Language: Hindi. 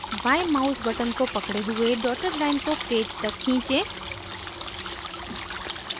बाँयें mouse button को पकड़े हुए dotted line को पेज तक खींचें